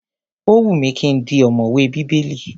Ó wù mí ki n di ọ̀mọ̀wè Bíbélì.